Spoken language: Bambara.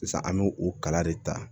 Sisan an me o kala de ta